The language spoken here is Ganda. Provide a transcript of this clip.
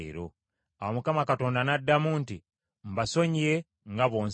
Awo Mukama Katonda n’addamu nti, “Mbasonyiye nga bw’onsabye.